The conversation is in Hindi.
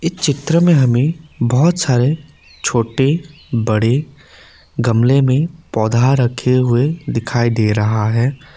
चित्र में हमें बहोत सारे छोटे बड़े गमले में पौधा रखे हुए दिखाई दे रहा है।